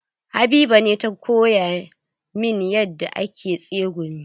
Habiba ce ta koya min yadda ake tsegumi.